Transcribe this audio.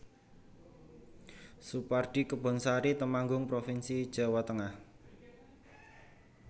Soepardi Kebonsari Temanggung provinsi Jawa Tengah